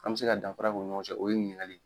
An be se ka danra kɛ u ni ɲɔgɔn cɛ o ye ɲininkali ye.